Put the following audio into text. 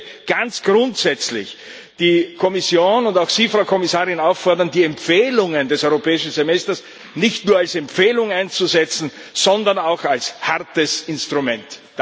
Und ich möchte ganz grundsätzlich die Kommission und auch Sie, Frau Kommissarin, auffordern, die Empfehlungen des Europäischen Semesters nicht nur als Empfehlung einzusetzen, sondern auch als hartes Instrument.